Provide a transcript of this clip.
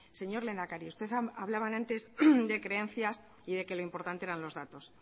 señor lehendakari usted hablaba antes de creencias y de que lo importante eran los datos